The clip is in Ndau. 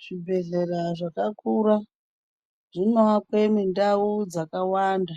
Zvibhedhlera zvakakura zvinoakwa mundau dzakawanda